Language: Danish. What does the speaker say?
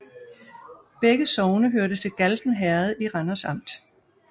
Begge sogne hørte til Galten Herred i Randers Amt